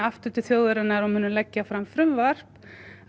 aftur til þjóðarinnar og munum leggja fram frumvarp